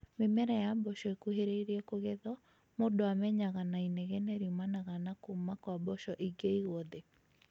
Mĩmera ya mboco ĩkuhĩrĩirie kũgethwo mũndũ amenyaga na inegene riumanaga na kũũma kwa mboco ingĩigwo thĩ